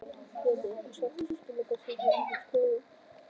Lillý: Einhver sérstök skilaboð sem þú hefur til stjórnenda spítalans?